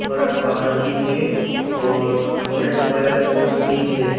बड़ा पहाड़ भी है और और एक वायर पोस भी है।